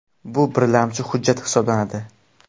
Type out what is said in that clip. Bu birlamchi hujjat hisoblanadi.